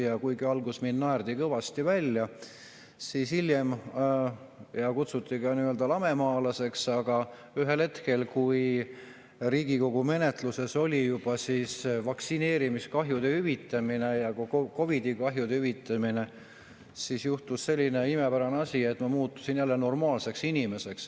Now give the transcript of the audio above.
Ja kuigi alguses mind naerdi kõva välja ja kutsuti lamemaalaseks, siis ühel hetkel, kui Riigikogu menetluses oli juba vaktsineerimiskahjude hüvitamine ja COVID‑i kahjude hüvitamine, siis juhtus selline imepärane asi, et ma muutusin jälle normaalseks inimeseks.